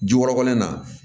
Jikɔrɔ in na